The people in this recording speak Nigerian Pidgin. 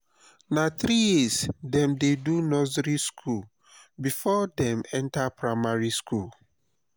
na three years dem dey do nursery skool before dem enter primary skool.